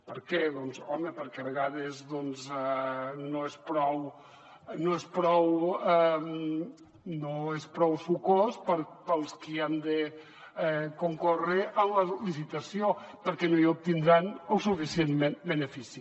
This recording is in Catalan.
per què doncs home perquè a vegades no és prou sucós per als qui han de concórrer en la licitació perquè no n’obtindran el suficient benefici